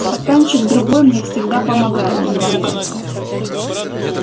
стаканчик другой мне всегда помогает в игре